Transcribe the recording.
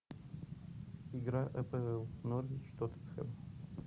игра апл норвич тоттенхэм